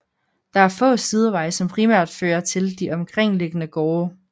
Der er få sideveje som primært føre til de omkringliggende gårde